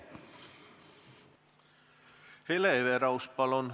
Hele Everaus, palun!